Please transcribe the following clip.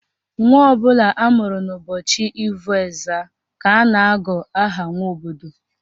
Nwa ọbụla amụrụ n'ụbọchị Ivo Ezza ka a na-agụ aha Nwobodo